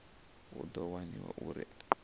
hu ḓo waniwa uri aya